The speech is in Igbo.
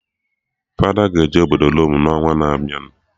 Fada ga-eje obodo Rome n'ọnwa na-abịa